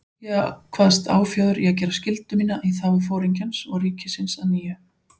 Ég kvaðst áfjáður í að gera skyldu mína í þágu Foringjans og ríkisins að nýju.